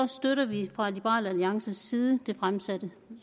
støtter vi fra liberal alliances side det fremsatte